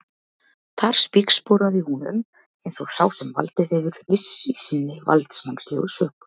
Þar spígsporaði hún um eins og sá sem valdið hefur, viss í sinni valdsmannslegu sök.